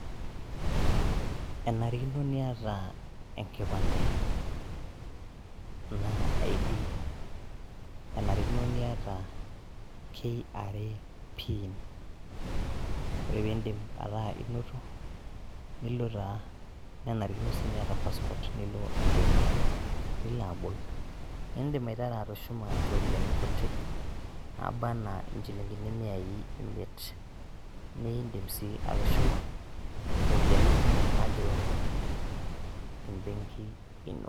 Enarikino nieta enkipande anaa ID, enarikino nieta KRA PIN, ore piindip ataa inoto nilo taa nenarikino nieta passport nilo embenki nilo abol, niindim aitaru atushuma iropiyani kutik naba anaa inchilingini miai imiet niindim sii atushuma ropiyani kumok nagiroo nena te mbenki ino.